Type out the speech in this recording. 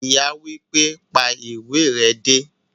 Ìyá wípé,"pa ìwé re dé"